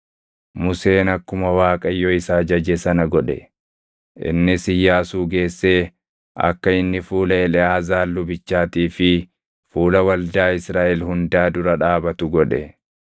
Museen akkuma Waaqayyo isa ajaje sana godhe. Innis Iyyaasuu geessee akka inni fuula Eleʼaazaar lubichaatii fi fuula waldaa Israaʼel hundaa dura dhaabatu godhe.